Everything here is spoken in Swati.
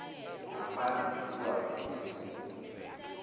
ngaphandle tilwane imibhungu